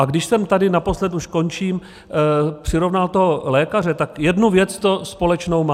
A když jsem tady naposled - už končím - přirovnal toho lékaře, tak jednu věc to společnou má.